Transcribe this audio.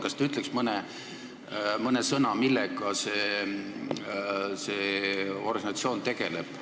Kas te ütleks mõne sõnaga, millega see organisatsioon tegeleb?